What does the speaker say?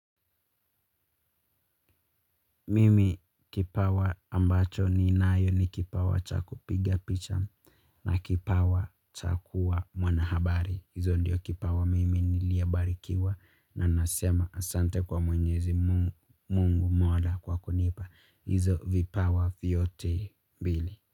Mimi kipawa ambacho ninayo ni kipawa cha kupiga picha na kipawa cha kuwa mwanahabari. Hizo ndiyo kipawa mimi niliyobarikiwa na nasema asante kwa mwenyezi Mungu Mola kwa kunipa. Hizo vipawa vyote mbili.